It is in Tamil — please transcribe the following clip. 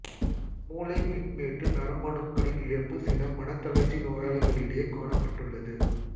மூளைப் பின்மேட்டு நரம்பணுக்களின் இழப்பு சில மனத் தளர்ச்சி நோயாளிகளிடையே காணப்பட்டுள்ளது